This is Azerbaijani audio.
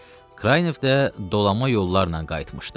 Kraynev də dolama yollarla qayıtmışdı.